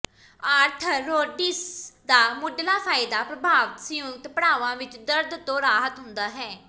arthrodesis ਦਾ ਮੁਢਲਾ ਫਾਇਦਾ ਪ੍ਰਭਾਵਤ ਸੰਯੁਕਤ ਪੜਾਵਾਂ ਵਿਚ ਦਰਦ ਤੋਂ ਰਾਹਤ ਹੁੰਦਾ ਹੈ